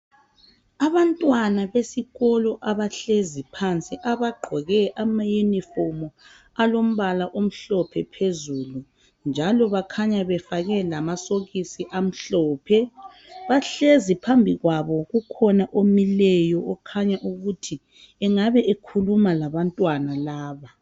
Abantwana besikolo abahlezi phansi abagqoke amayunifomu alombala amhlophe phezulu njalo bakhanya bafake lamasokisi amhlophe. Bahlezi phambi kwabo kukhona omileyo okhanya ukuthi engabe ekhuluma labantwana laba.